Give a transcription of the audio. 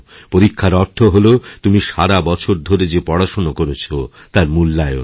পরীক্ষার অর্থ হল তুমি সারা বছর ধরে যে পড়াশোনাকরেছ তার মূল্যায়ন